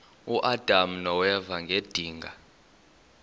uadam noeva ngedinga